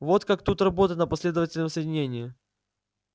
вот как тут работать на последовательном соединении